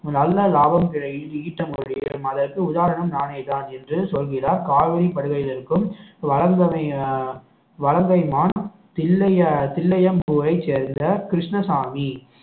நல்ல லாபம் கிடை~ ஈட்ட முடியும் அதற்கு உதாரணம் நானேதான் என்று சொல்கிறார் காவிரிப் படுகையில் இருக்கும் வளர்ந்தணை வலங்கைமான் தில்லைய~ தில்லையம்பூவை சேர்ந்த கிருஷ்ணசாமி